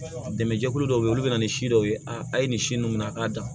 Dɛmɛjɛkulu dɔw be ye olu be na ni si dɔw ye a ye nin si nunnu minɛ a k'a dan